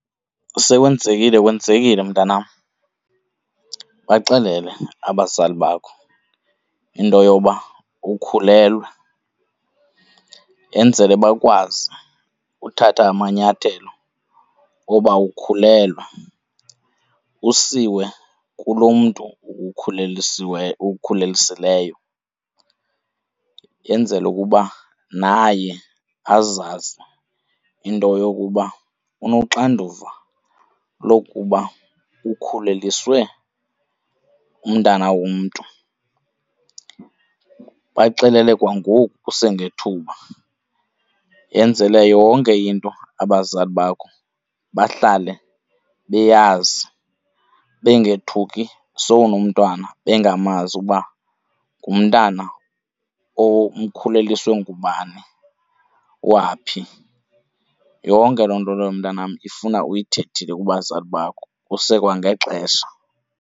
Sekwenzekile kwenzekile, mntanam. Baxelele abazali bakho into yoba ukhulelwe enzele bakwazi uthatha amanyathelo okuba ukhulelwe, usiwe kulo mntu ukukhulelisileyo, yenzelwa ukuba naye azazi into yokuba unoxanduva lokuba ukhuleliswe umntana womntu. Baxelele kwangoku kusengethuba yenzele yonke into abazali bakho bahlale beyazi, bengethuki sowunomntwana bengamazi uba ngumntana omkhuleliswe ngubani, owaphi, yonke loo nto leyo mntanam ifuna uyithethile kubazali bakho kusekwangexesha.